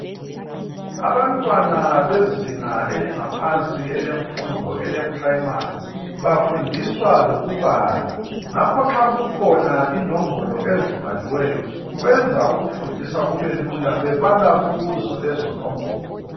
Abantwana bezinga elingaphansi elemfundo primary bafundiswa lokubala ngakho nxa kukhona inombolo ezibhaliweyo kwenza ukufundisa kubelula bebala kuzo lezo nombolo